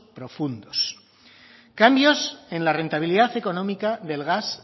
profundos cambios en la rentabilidad económica del gas